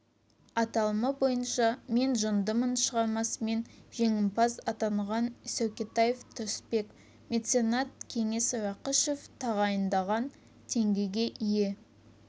аталымы бойынша мен жындымын шығармасымен жеңімпаз атанған сәукетаев тұрысбек меценат кеңес рақышев тағайындаған теңгеге ие